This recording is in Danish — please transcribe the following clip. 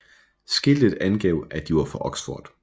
Skiltet angav at de var fra Oxford